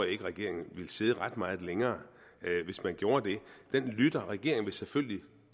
ikke at regeringen ville sidde ret meget længere hvis den gjorde det den lytter regeringen vil selvfølgelig